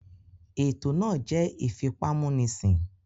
Ètò náà jẹ́ ìfipámúnisìn